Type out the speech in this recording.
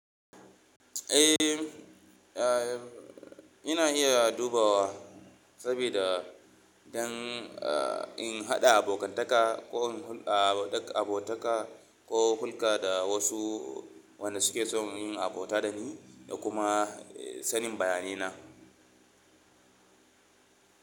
Ina iya dubawa sabida dan in haɗa abokantaka ko in hulɗa abotaka ko hulƙa da wasu wanda suke son yin abota da ni da kuma sanin bayanina.